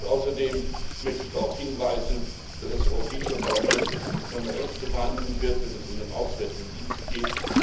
Außerdem möchte ich darauf hinweisen, dass das Europäische Parlament seine Rechte wahrnehmen wird, wenn es um den Auswärtigen Dienst geht.